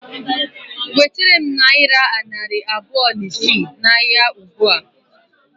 Wetere m nayira narị abụọ na isii na ahịa ụgbụa